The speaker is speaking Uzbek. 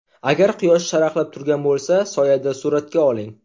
Agar quyosh charaqlab turgan bo‘lsa, soyada suratga oling.